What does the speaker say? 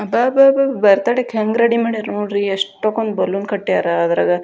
ಅಬಾಬಾ birthday ಕ್ಕ ಹೆಂಗ ready ಮಾಡ್ಯಾರ್ ನೋಡ್ರಿ ಎಷ್ಟೊಕೊಂಡ್ ಬಲೂನ್ ಕಟ್ಟ್ಯಾರ ಅದ್ರಾಗ.